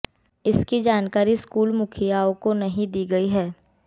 इसकी जानकारी स्कूल मुखियाओं को नहीं दी गई है